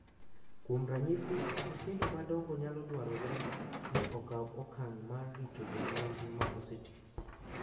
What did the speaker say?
Kuom ranyisi, nyithindo madongo nyalo dwarore ni okaw okang’ mar rito jonyuolgi ma oseti,